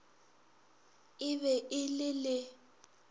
e be e le le